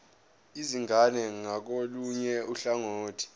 izingane ngakolunye uhlangothi